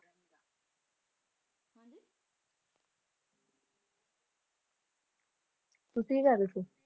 ਤੁਸੀਂ ਕੀ ਕਰ ਰਹੇ